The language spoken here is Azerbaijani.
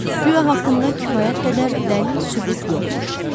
Guya haqqında kifayət qədər dəlil sübut yoxmuş.